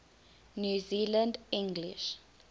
new zealand english